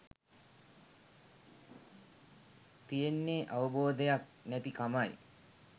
තියෙන්නේ අවබෝධයක් නැති කමයි.